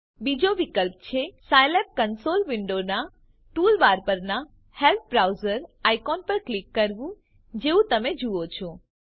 બીજો વિકલ્પ છે સાયલેબ કંસોલ વિન્ડોનાં ટૂલબાર પરનાં હેલ્પ બ્રાઉઝર આઇકોન પર ક્લિક કરવું જેવું તમે જુઓ છો